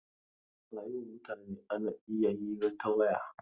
A yau mutane ana iya hira ta waya.